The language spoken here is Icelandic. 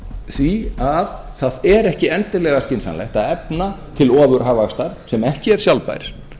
því að er ekki endilega skynsamlegt að efna til ofurhagvaxtar sem ekki er sjálfbær